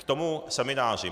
K tomu semináři.